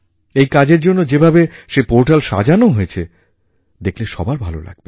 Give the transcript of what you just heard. এই কাজের জন্য যে ভাবে সেই পোর্টাল সাজানো হয়েছে দেখলে সবার ভালো লাগবে